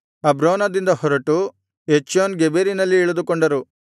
ಅಬ್ರೋನದಿಂದ ಹೊರಟು ಎಚ್ಯೋನ್ ಗೆಬೆರಿನಲ್ಲಿ ಇಳಿದುಕೊಂಡರು